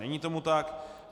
Není tomu tak.